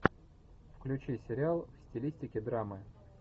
включи сериал в стилистике драмы